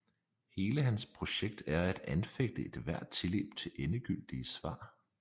Hele hans projekt er at anfægte ethvert tilløb til endegyldige svar